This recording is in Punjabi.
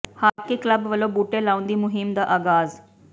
ਹਾਕੀ ਕਲੱਬ ਵੱਲੋਂ ਬੂਟੇ ਲਾਉਣ ਦੀ ਮੁਹਿੰਮ ਦਾ ਆਗਾਜ਼